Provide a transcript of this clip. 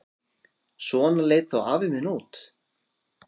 Svona leit þá afi minn út.